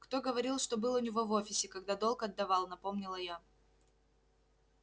кто говорил что был у него в офисе когда долг отдавал напомнила я